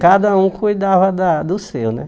Cada um cuidava da do seu, né?